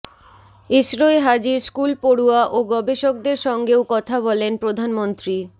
ইসরোয় হাজির স্কুল পড়ুয়া ও গবেষকদের সঙ্গেও কথা বলেন প্রধানমন্ত্রী